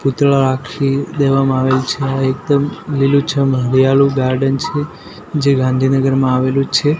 દેવામાં આવે છે આ એકદમ લીલુછમ હરિયાલુ ગાર્ડન છે જે ગાંધીનગરમાં આવેલું છે.